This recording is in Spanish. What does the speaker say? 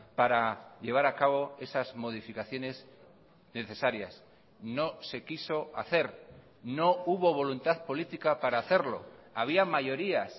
para llevar a cabo esas modificaciones necesarias no se quiso hacer no hubo voluntad política para hacerlo había mayorías